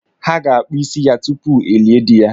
Ha ga-akpụ isi ya tupu elie dị ya.